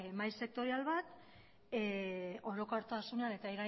mahai sektorial bat orokortasunean eta